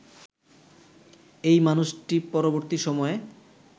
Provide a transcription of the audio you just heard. এই মানুষটি পরবর্তী সময়ে